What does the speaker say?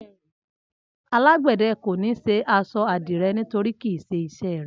Alágbẹ̀dẹ kò ní ṣe aṣọ àdìrẹ nítorí kì í ṣe iṣẹ́ rẹ̀